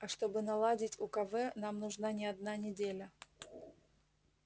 а чтобы наладить укв нам нужна не одна неделя